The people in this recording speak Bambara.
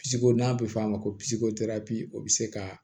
Pisiko n'a bɛ fɔ a ma ko o bɛ se ka